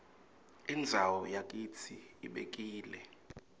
indzawo yakitsi ibekile